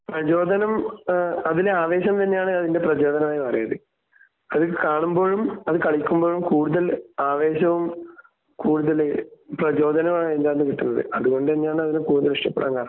പ്രചോദനം ഏഹ് അതിലെ ആവേശം തന്നെയാണ് അതിന്റെ പ്രചോദനമായി പറയുന്നത്. അത് കാണുമ്പോഴും അത് കളിക്കുമ്പോഴും കൂടുതൽ ആവേശവും കൂടുതൽ പ്രചോദനവും ആയിട്ടാണ് കിട്ടുന്നത്. അത് കൊണ്ട് തന്നെയാണ് അതിനെ കൂടുതൽ ഇഷ്ടപ്പെടാൻ കാരണം. .